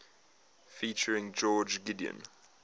featuring george gideon